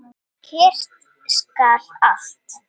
Kyrrt skal allt.